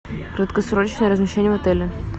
краткосрочное размещение в отеле